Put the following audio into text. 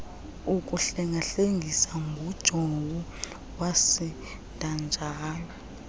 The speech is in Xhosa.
ukuhlengahlengiswa ngujowo wasidajayo